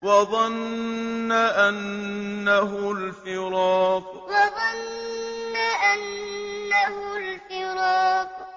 وَظَنَّ أَنَّهُ الْفِرَاقُ وَظَنَّ أَنَّهُ الْفِرَاقُ